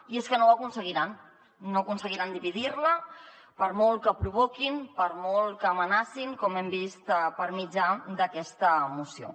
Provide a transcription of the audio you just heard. i és que no ho aconseguiran no aconseguiran dividir la per molt que provoquin per molt que amenacin com hem vist per mitjà d’aquesta moció